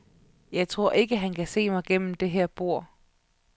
Jeg tror ikke, han kan se mig gennem det her bord.